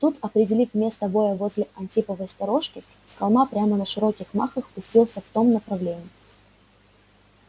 тут определив место воя возле антиповой сторожки с холма прямо на широких махах пустился в том направлении